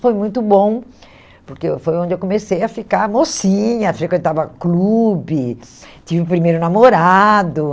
Foi muito bom, porque eu foi onde eu comecei a ficar mocinha, frequentava clubes, tive o primeiro namorado.